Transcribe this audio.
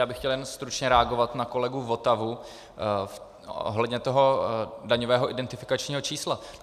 Já bych chtěl jen stručně reagovat na kolegu Votavu ohledně toho daňového identifikačního čísla.